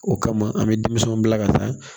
O kama an bɛ denmisɛninw bila ka taa